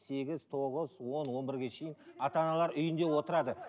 сегіз тоғыз он он бірге шейін ата аналар үйінде отырады